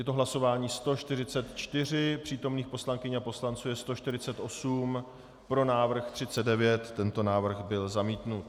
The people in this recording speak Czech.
Je to hlasování 144, přítomných poslankyň a poslanců je 148, pro návrh 39, tento návrh byl zamítnut.